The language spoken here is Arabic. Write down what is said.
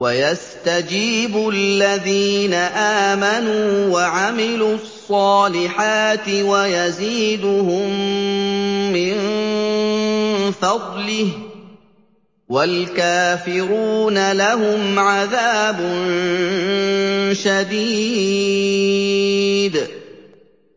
وَيَسْتَجِيبُ الَّذِينَ آمَنُوا وَعَمِلُوا الصَّالِحَاتِ وَيَزِيدُهُم مِّن فَضْلِهِ ۚ وَالْكَافِرُونَ لَهُمْ عَذَابٌ شَدِيدٌ